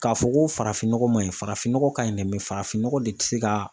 K'a fɔ ko farafin nɔgɔ man ɲi farafin nɔgɔ ka ɲi dɛ farafin nɔgɔ de tɛ se ka